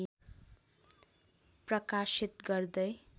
प्रकाशित गर्दै